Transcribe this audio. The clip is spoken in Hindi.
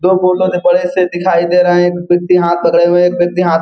दो फोटो बड़े से दिखाई दे रहे है एक व्यक्ति हाथ पकडे हुए है एक व्यक्ति हाथ --